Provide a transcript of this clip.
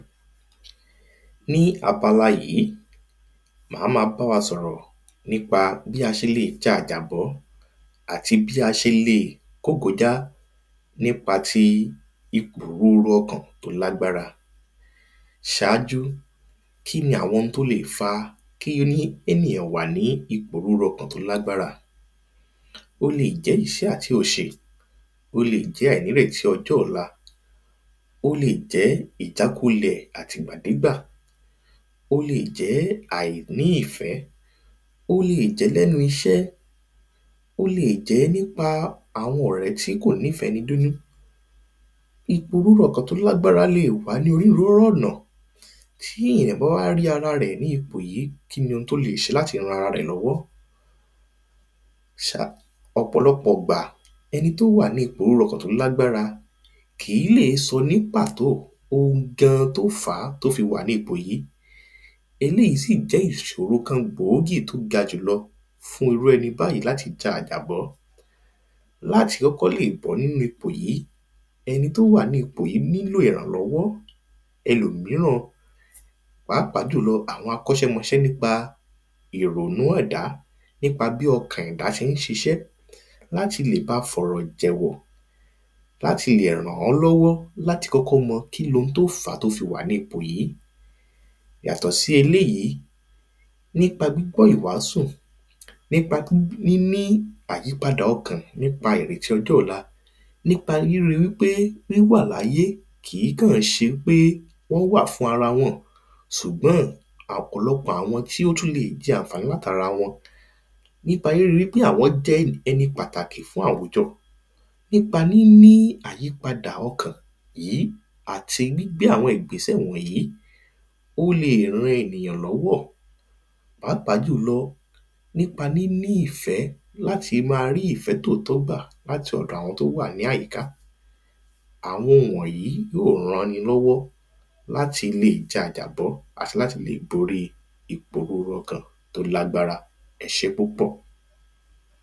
Ní abala yìí máa ma bá wa sọ̀rọ̀ nípa bí a ṣe lè ja àjàbọ́ àti bí a ṣe lẹ̀ kógojá nípa ìpòrúru ọkàn tí ó lágbára Ṣááju kiní àwọn oun tí ó lè fa kí ènìyàn wà ní ìpòrúru ọkàn tí ó lágbára O lè jẹ́ ìṣẹ́ àti òṣè Ó lè jẹ́ àìnírètí ọjọ́ ọ̀la Ó lè jẹ́ ìjákulẹ̀ àtìgbàdégbà Ó lè jẹ́ àìní ìfẹ́ Ó lè jẹ́ ní ẹnu iṣẹ́ Ó lè jẹ́ nípa àwọn ọ̀rẹ́ tí kò nífẹ̀ẹ́ ẹni dé inú Ìpòrúru ọkàn tí ó lágbára lè wà ni onírúurú ọ̀nà Tí èyàn bá wá rí ara rẹ̀ ní ipò yìí kíni oun tí ó lè ṣe láti ran ara rẹ̀ lọ́wọ́ Ṣá ọ̀pọ̀lọpọ̀ ìgbà ẹni tí ó wà ni ìpòrúru ọkàn tí ó lágbára kìí lè sọ ní pàtó oun gan an tí ó fàá tí ó fi wà ní ipò yìí Eléyì si jẹ́ ìṣòro kan gbòógì tí ó ga jù lọ fún irú ẹni báyì láti ja àjàbọ́ Láti kọ́kọ́ lè bọ́ nínú ipò yìí ẹni tí ó wà nínu ipò nílò ìrànlọ́wọ́ ẹlòmíràn Pàápàá jùlọ àwọn akọ́ṣẹ́mọṣẹ́ nípa ìrònú ẹ̀dá nípa bi ọkàn ẹ̀dá ṣe ń ṣiṣẹ láti lè bá fi ọ̀rọ̀ jẹ̀wọ̀ láti lè ran an lọ́wọ́ láti lè mọ kíni oun tí ó fàá tí o fi wà ní ipò yìí Yàtọ̀ si eleyìí nípa gbígbọ́ ìwàásù nípa níní àyípadà ọkàn nípa ìrètí ọjọ́ ọ̀la nípa ríri wípé wíwà láyé kìí kàn ṣe wípé wọ́n wà fún ara wọn ṣùgbọ́n ọ̀pọ̀lọpọ̀ àwọn tí ó tún lè jẹ àǹfàní láti ara wọn Nípa riri wípé àwọn jẹ́ ẹni pàtàkí̀ fún àwùjọ Pàápàá jù lọ nípa níní ìfẹ́ láti máa rí ìfẹ́ tòótọ́ gbà láti ọ̀dọ̀ àwọn tí ó wà ní àyíká Àwọn wọ̀nyìí yóò ran ẹni lọ́wọ́ láti ja àjàbọ́ àti láti lè borí ìpòrúru ọkàn tí ó lágbára Ẹ ṣé púpọ̀